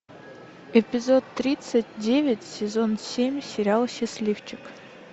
эпизод тридцать девять сезон семь сериал счастливчик